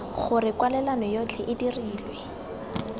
gore kwalelano yotlhe e dirilwe